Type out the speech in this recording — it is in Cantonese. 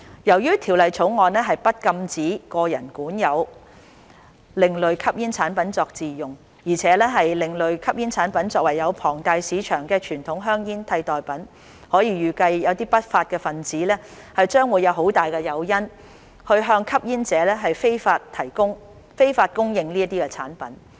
由於《條例草案》不禁止個人管有另類吸煙產品作自用，而且另類吸煙產品可作為有龐大市場的傳統香煙的替代品，可以預計不法分子將有很大誘因向吸煙者非法供應這些產品。